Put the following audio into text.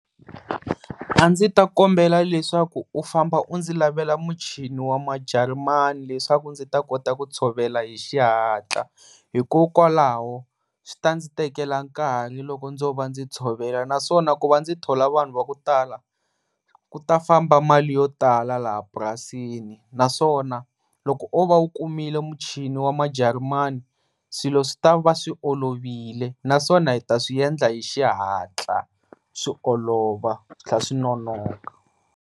A ndzi ta kombela leswaku u famba u ndzi lavela muchini wamajarimani leswaku ndzi ta kota ku tshovela hi xihatla hikokwalaho swi ta ndzi tekela nkarhi loko ndzo va ndzi tshovela naswona ku va ndzi thola vanhu va kutala kuta famba mali yotala laha purasini naswona loko o va wu kumile muchini yamajarimani swilo swi tava swi olovile naswona ta swi endla xihatla swi olova swinonoka.